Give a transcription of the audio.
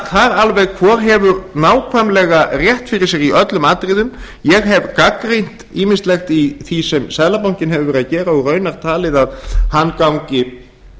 það alveg hvor hefur nákvæmlega rétt fyrir sér í öllum atriðum ég hef gagnrýnt ýmislegt í því sem seðlabankinn hefur verið að gera og raunar talið að hann gangi